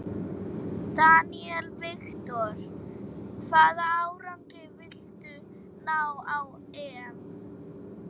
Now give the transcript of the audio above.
Daniel Victor: Hvaða árangri viltu ná á EM?